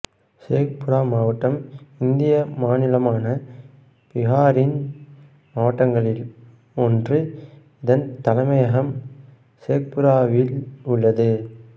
ஷேக்புரா மாவட்டம் இந்திய மாநிலமான பீகாரின் மாவட்டங்களில் ஒன்று இதன் தலைமையகம் ஷேக்புராவில் உள்ளது